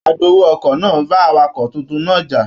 Agbowó ọkọ̀ náà bá awakọ tuntun náà já.